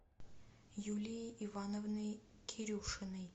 юлией ивановной кирюшиной